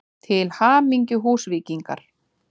Til hamingju Húsvíkingar!!